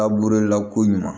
A burula ko ɲuman